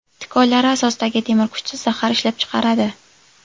Tikonlari asosidagi temir kuchsiz zahar ishlab chiqaradi.